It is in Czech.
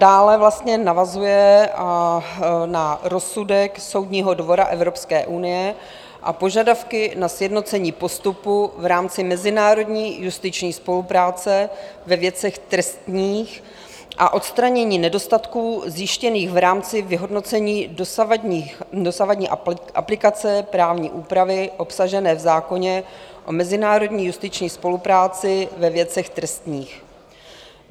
Dále vlastně navazuje na rozsudek Soudního dvora Evropské unie a požadavky na sjednocení postupu v rámci mezinárodní justiční spolupráce ve věcech trestních a odstranění nedostatků zjištěných v rámci vyhodnocení dosavadní aplikace právní úpravy obsažené v zákoně o mezinárodní justiční spolupráci ve věcech trestních.